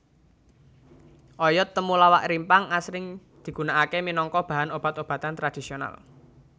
Oyod temulawak rimpang asring digunakaké minangka bahan obat obatan tradhisional